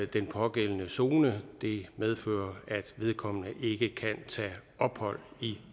den pågældende zone det medfører at vedkommende ikke kan tage ophold i